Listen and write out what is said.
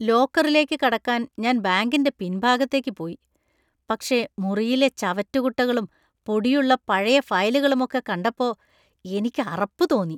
ലോക്കറിലേക്ക് കടക്കാൻ ഞാൻ ബാങ്കിന്റെ പിൻഭാഗത്തേക്ക് പോയി, പക്ഷേ മുറിയിലെ ചവറ്റുകുട്ടകളും ,പൊടിയുള്ള പഴയ ഫയലുകളുമൊക്കെ കണ്ടപ്പോ എനിക്ക് അറപ്പ് തോന്നി.